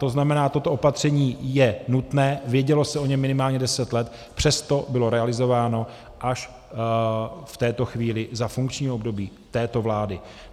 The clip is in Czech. To znamená, toto opatření je nutné, vědělo se o něm minimálně deset let, přesto bylo realizováno až v této chvíli za funkčního období této vlády.